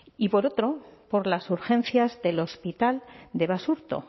y por otro por las urgencias del hospital de basurto